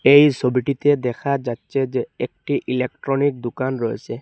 এই সবিটিতে দেখা যাচ্ছে যে একটি ইলেকট্রনিক দুকান রয়েসে।